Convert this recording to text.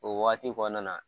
O wagati kɔnɔna na.